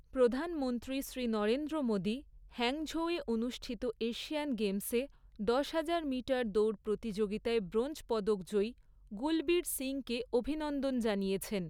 প্রধানমন্ত্রী শ্রী নরেন্দ্র মোদী হ্যাংঝৌয়ে অনুষ্ঠিত এশিয়ান গেমসে দশহাজার মিটার দৌড় প্রতিযোগিতায় ব্রোঞ্জ পদক জয়ী গুলবীর সিংকে অভিনন্দন জানিয়েছেন।